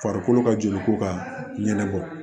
Farikolo ka joli ko ka ɲɛnɛma bɔ